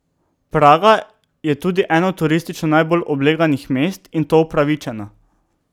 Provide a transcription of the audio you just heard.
Praga je tudi eno turistično najbolj obleganih mest, in to upravičeno.